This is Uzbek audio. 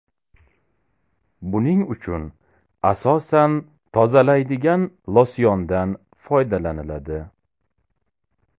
Buning uchun asosan tozalaydigan losyondan foydalaniladi.